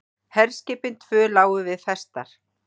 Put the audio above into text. Herskipin tvö lágu við festar.